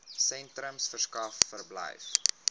sentrums verskaf verblyf